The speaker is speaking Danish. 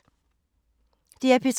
DR P3